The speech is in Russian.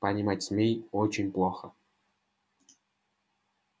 понимать змей очень плохо